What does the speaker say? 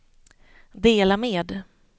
dela med